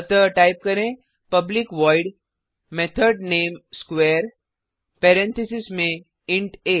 अतः टाइप करें public void method named square parentheses में इंट आ